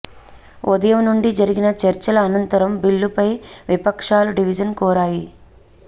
ఉదయం నుండి జరిగిన చర్చల అనంరతం బిల్లుపై విపక్షాలు డివిజన్ కోరాయి